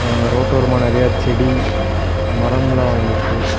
ஆ ரோட்டோரமா நிறைய செடி மரம்ல்லா வளந்துருக்கு.